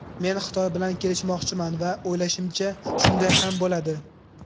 Men Xitoy bilan kelishmoqchiman va o‘ylashimcha, shunday ham bo‘ladi.